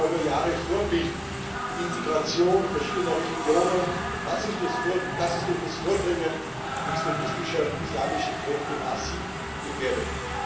Der Libanon war über Jahre Vorbild für die Integration verschiedener Religionen. Das ist durch das Vordringen extremistischer islamischer Kräfte massiv gefährdet.